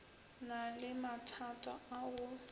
na le mathata a go